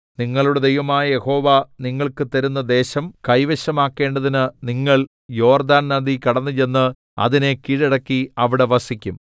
നിങ്ങളുടെ ദൈവമായ യഹോവ നിങ്ങൾക്ക് തരുന്ന ദേശം കൈവശമാക്കേണ്ടതിന് നിങ്ങൾ യോർദ്ദാൻ നദി കടന്നുചെന്ന് അതിനെ കീഴടക്കി അവിടെ വസിക്കും